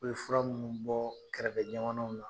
U be fura minnu bɔɔ kɛrɛfɛ jamanaw la